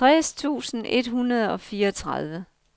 tres tusind et hundrede og fireogtredive